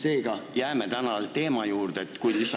Tahan seda öelda selleks, et kui suuremaks vabanduse palumiseks läheb.